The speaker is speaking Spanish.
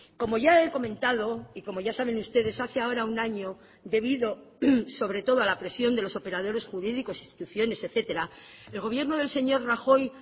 como ya he comentado y como ya saben ustedes hace ahora un año debido sobre todo a la presión de los operadores jurídicos instituciones etcétera el gobierno del señor rajoy